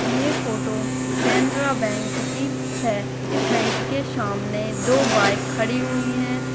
ये photo Canara bank की है इस बैंक के शामने दो बाइक खड़ी हुई हैं।